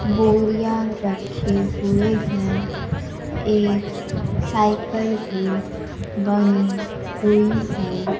बोरिया रखे हुए हैं एक साइकल भी बनी हुई है।